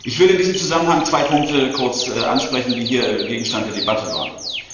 Ich will in diesem Zusammenhang zwei Punkte kurz ansprechen, die hier Gegenstand der Debatte waren.